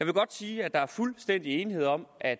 godt sige at der er fuldstændig enighed om at